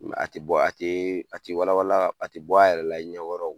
a te bɔ a tee a te wala wala a te bɔ a yɛrɛ la i ɲɛ kɔrɔ o.